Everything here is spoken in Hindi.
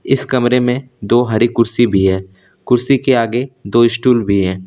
इस कमरे में दो हरी कुर्सी भी हैं कुर्सी के आगे दो स्टूल भी है।